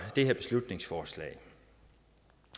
det her beslutningsforslag